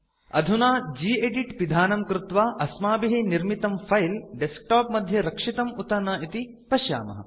अधुना गेदित् पिधानं कृत्वा अस्माभिः निर्मितं फिले डेस्कटॉप मध्ये रक्षितं उत न इति पश्यामः